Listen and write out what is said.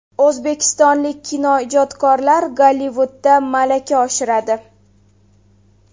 O‘zbekistonlik kinoijodkorlar Gollivudda malaka oshiradi.